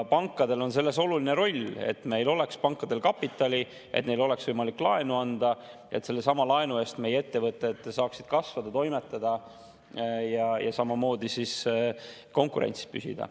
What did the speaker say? Pankadel on selles oluline roll: pankadel peab olema kapitali, et neil oleks võimalik laenu anda, et sellesama laenu eest meie ettevõtted saaksid kasvada, toimetada ja konkurentsis püsida.